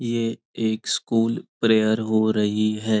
यह एक school prayer हो रही है।